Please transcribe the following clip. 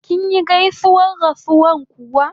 Kinyi gaisuwar rasuwa kuwa?